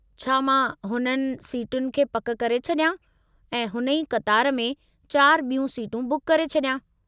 छा मां हुननि सिटुनि खे पकि करे छॾियां ऐं हुन ई क़तार में चार ॿियूं सीटूं बुक करे छॾियां?